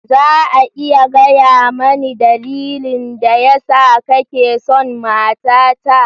Za a iya gaya mani dalilin da yasa kake son matata?